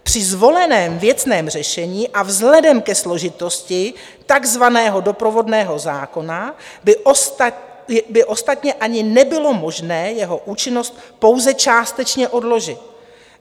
Při zvoleném věcném řešení a vzhledem ke složitosti takzvaného doprovodného zákona by ostatně ani nebylo možné jeho účinnost pouze částečně odložit.